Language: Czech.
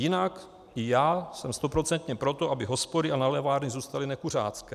Jinak i já jsem stoprocentně pro to, aby hospody a nálevny zůstaly nekuřácké.